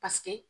Paseke